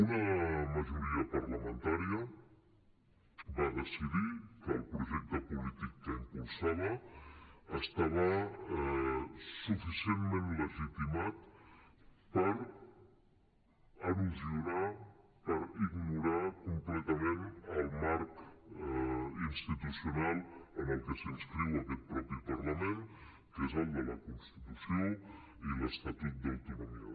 una majoria parlamentària va decidir que el projecte polític que impulsava estava suficientment legitimitat per erosionar per ignorar completament el marc institucional en el que s’inscriu aquest mateix parlament que és el de la constitució i l’estatut d’autonomia